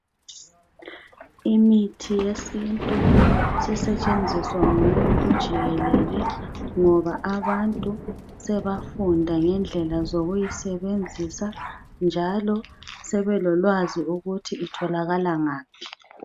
Imithi yesintu sisetshenziswa ngumuntu jikelele ngoba abantu sebafunda ngendlela yokusebenzisa njalo sebelolwazi ukuthi itholakala ngaphi